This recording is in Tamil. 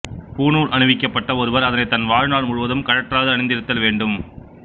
பூணூல் அணிவிக்கப்பட்ட ஒருவர் அதனை தன் வாழ்நாள் முழுவதும் கழற்றாது அணிந்திருத்தல் வேண்டும்